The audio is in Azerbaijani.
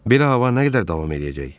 Belə hava nə qədər davam eləyəcək?